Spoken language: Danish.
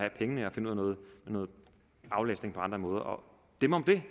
finde ud af noget aflastning på andre måder og dem om det